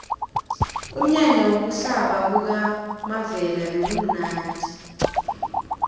umnyanya wokuhlaba kukamavela bewumnadi